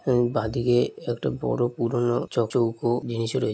এবং বাদিকে একটা বড় পুরনো চ চৌকো জিনিস রয়ে--